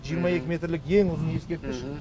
жиырма екі метрлік ең ұзын ескерткіш